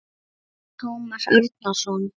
Ragnar Tómas Árnason